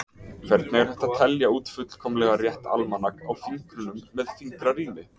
Hvernig er hægt að telja út fullkomlega rétt almanak á fingrunum með fingrarími?